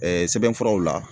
sɛbɛnfuraw la